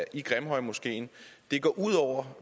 i grimhøjmoskeen går ud over